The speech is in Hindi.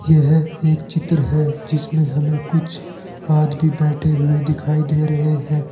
यह एक चित्र है जिसमें हमें कुछ आदमी बैठे हुए दिखाई दे रहे हैं।